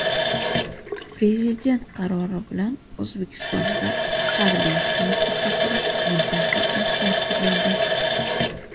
Prezident qarori bilan O‘zbekistonda harbiy xizmatga chaqirish muddati o‘zgartirildi.